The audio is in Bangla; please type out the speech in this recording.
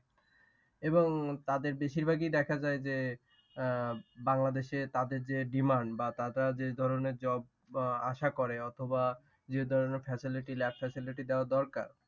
এবং তাদের বেশির ভাগই দেখা যায় যে আহ বাংলাদেশে তাদের যে demand বা তারা যে ধরণের job আহ আশা করে অথবা যে ধরণের facility lab facility দেওয়া দরকার।